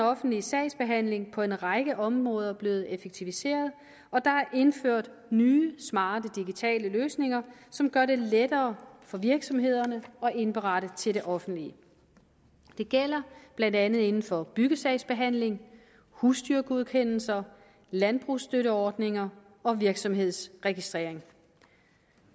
offentlige sagsbehandling på en række områder blevet effektiviseret og der er indført nye smarte digitale løsninger som gør det lettere for virksomhederne at indberette til det offentlige det gælder blandt andet inden for byggesagsbehandling husdyrgodkendelser landbrugsstøtteordninger og virksomhedsregistrering